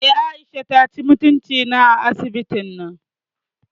Eh, Aisha taci mutunci na a asibitin nan